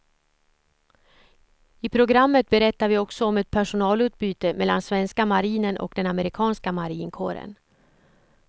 I programmet berättade vi också om ett personalutbyte mellan svenska marinen och den amerikanska marinkåren.